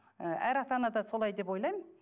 ы әр ата ана да солай деп ойлаймын